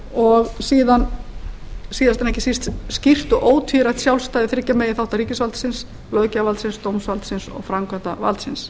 og síðast en ekki síst skýrt og ótvírætt sjálfstæði þriggja meginþátta ríkisvaldsins löggjafarvaldsins dómsvaldsins og framkvæmdarvaldsins